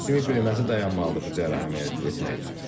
Sümük böyüməsi dayanmalıdır bu cərrahi əməliyyatı etmək üçün.